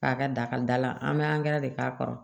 K'a ka dakada an bɛ de k'a kɔrɔ